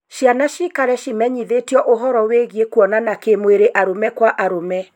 Ciana ciikare cimenyithĩtio ũhoro wĩĩgiĩ kuonana kĩ mwĩrĩ arũme kwa arũme